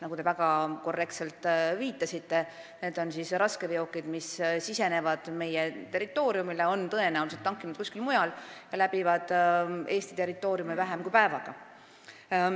Nagu te väga korrektselt viitasite, enamasti need raskeveokid, mis sisenevad meie territooriumile, on tõenäoliselt tankinud kuskil mujal ja läbivad Eesti territooriumi vähem kui päevaga.